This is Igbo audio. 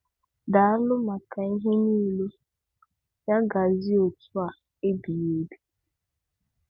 Daalụnụ maka ihe niile, ya gaziere òtú a ebighi ebi.'